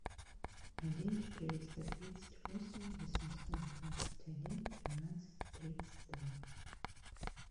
один четыреста тридцать восемь восемьсот двадцать один тринадцать тридцать два